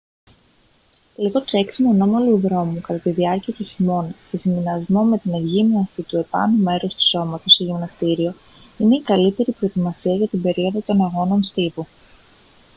λίγο τρέξιμο ανώμαλου δρόμου κατά τη διάρκεια του χειμώνα σε συνδυασμό με την εκγύμναση του επάνω μέρους του σώματος σε γυμναστήριο είναι η καλύτερη προετοιμασία για την περίοδο των αγώνων στίβου